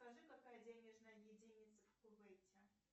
скажи какая денежная единица в кувейте